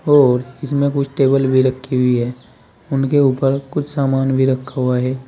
और इसमें कुछ टेबल भी रखी हुई है उनके ऊपर कुछ सामान भी रखा हुआ है।